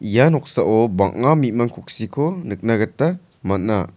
ia noksao bang·a mi·mang koksiko nikna gita man·a.